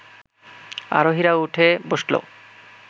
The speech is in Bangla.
আরোহীরা উঠে বসল